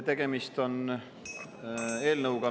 Tegemist on eelnõuga …